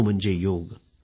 sound byte